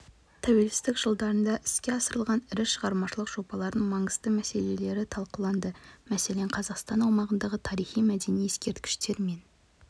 тәуелсіздік жылдарында іске асырылған ірі шығармашылық жобалардың маңызды мәселелері талқыланды мәселен қазақстан аумағындағы тарихи-мәдени ескерткіштер мен